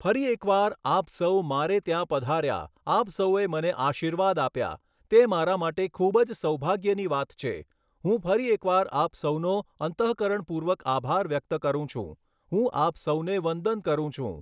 ફરી એક વાર, આપ સૌ મારે ત્યાં પધાર્યા, આપ સૌએ મને આશીર્વાદ આપ્યા, તે મારા માટે ખૂબ જ સૌભાગ્યની વાત છે, હું ફરી એક વાર આપ સૌનો અંતઃકરણ પૂર્વક આભાર વ્યક્ત કરું છું, હું આપ સૌને વંદન કરું છું.